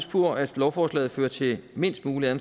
på at lovforslaget fører til mindst mulige